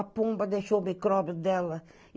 A pomba deixou o micróbio dela.